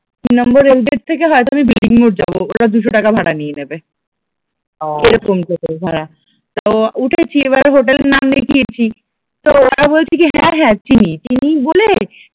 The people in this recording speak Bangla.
তিন নম্বর রেলগেট থেকে হয়তো আমি বিল্ডিং মোড় যাব ওরা দুশো টাকা ভাড়া নিয়ে নেবে, এরকম টোটো ভাঁড়া তো উঠেছি, এবার হোটেল এর নাম দেখিয়েছি তো ওরা বলছে কি হ্যাঁ হ্যাঁ চিনি, চিনি বলে